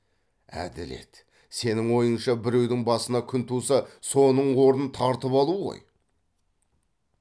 әділет сенің ойыңша біреудің басына күн туса соның орнын тартып алу ғой